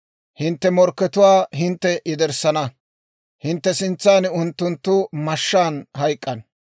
Hintte morkkatuwaa hintte yederssana; hintte sintsan unttunttu mashshaan hayk'k'ana.